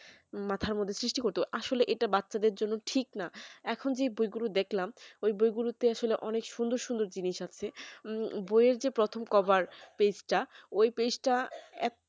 মাথার মধ্যে সৃষ্টি করতে আসলে এটা বাচ্চাদের জন্য ঠিক না এখন যে বইগুলো দেখলাম ওই বইগুলো তে আসলে অনেক সুন্দর সুন্দ জিনিস আছে বইয়ের যে প্রথম cover page টা ওই page টা এখন